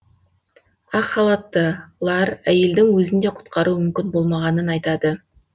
ақ халаттылар әйелдің өзін де құтқару мүмкін болмағанын айтады